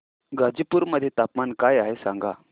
गाझीपुर मध्ये तापमान काय आहे सांगा